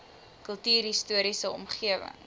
kultuurhis toriese omgewing